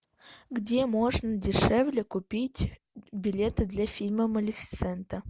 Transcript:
где можно дешевле купить билеты для фильма малефисента